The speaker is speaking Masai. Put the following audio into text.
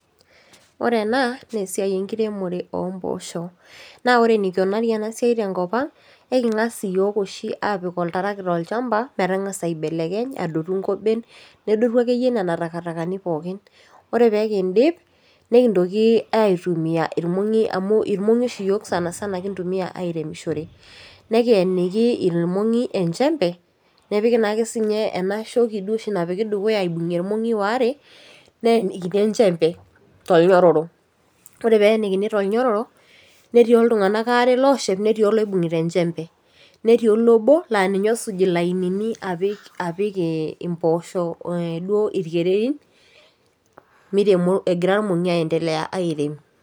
Ore ena neesiai enkiremore ompoosho naa ore enikunari ena siai tenkop ang eking'as iyiok oshi aapik oltarakita olchamba metang'asa aibelekenye adotu inkoben nedotu akeyie nena takatakani pookin ore pekindip nikintoki aitumia irmong'i amu irmong'i oshi sanasana oshi yiok sana sana kintumia airemishore nekiyeniki ilmong'i enchembe nepiki naake siinye ena shoki duo oshi napiki dukuya aibokie irmong'i waare neenikini enchembe tolnyororo ore peenikini tolnyororo netii oltung'anak aare looshep netii oloibung'ita enchembe netii olobo laaninye osuj ilainini apik apik eh impoosho eh duo irkererin miremo egira irmong'i aendelea airem.